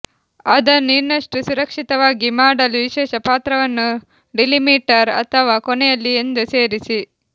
ಅದನ್ನು ಇನ್ನಷ್ಟು ಸುರಕ್ಷಿತವಾಗಿ ಮಾಡಲು ವಿಶೇಷ ಪಾತ್ರವನ್ನು ಡಿಲಿಮಿಟರ್ ಅಥವಾ ಕೊನೆಯಲ್ಲಿ ಎಂದು ಸೇರಿಸಿ